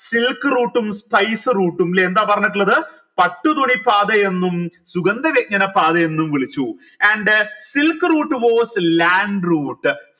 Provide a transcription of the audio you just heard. silk route ഉം spice route ഉം ല്ലെ എന്താ പറഞ്ഞിട്ടുള്ളത് പട്ടു തുണി പാതയെന്നും സുഗന്ധവ്യഞ്ജന പാതയെന്നും വിളിച്ചു and silk route was a land route